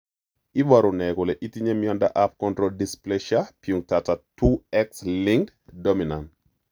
Iporu ne kole itinye miondap Chondrodysplasia punctata 2 X linked dominant?